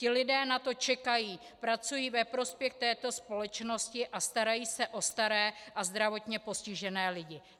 Ti lidé na to čekají, pracují ve prospěch této společnosti a starají se o staré a zdravotně postižené lidi.